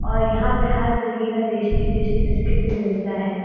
और यहां पे हर तरीके का टेस्टी-टेस्टी बिस्किट भी मिलता है।